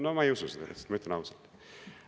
No ma ei usu seda lihtsalt, ma ütlen ausalt.